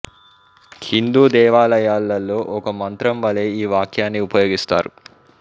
హిందూ దేవాలయాలలో ఒక మంత్రం వలె ఈ వాక్యాన్ని ఉపయోగిస్తారు